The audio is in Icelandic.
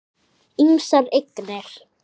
Ýmsar eignir.